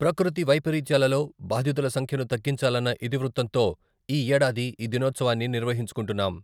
ప్రకృతి వైపరీత్యాలలో బాధితుల సంఖ్యను తగ్గించాలన్న ఇతివృత్తంతో ఈ ఏడాది ఈ దినోత్సవాన్ని నిర్వహించుకుంటున్నాం.